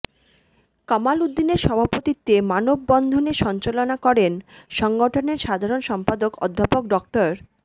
কামাল উদ্দিনের সভাপতিত্বে মানববন্ধনে সঞ্চালনা করেন সংগঠনের সাধারণ সম্পাদক অধ্যাপক ড